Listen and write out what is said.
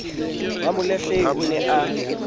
wa molahlehi o ne a